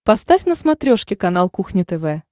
поставь на смотрешке канал кухня тв